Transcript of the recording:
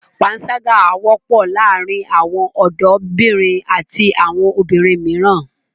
Pańṣágà wọ́pọ̀ láàárin àwọn ọ̀dọ́bìnrin àti àwọn obìnrin mìíràn.